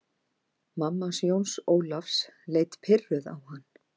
Mamma hans Jóns Ólafs leit pirruð á hann.